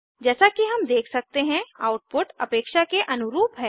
जैसा कि हम देख सकते हैं आउटपुट अपेक्षा के अनुरूप है